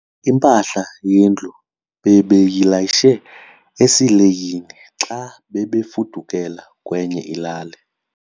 Impahla yendlu bebeyilayishe esileyini xa bebefudukela kwenye ilali.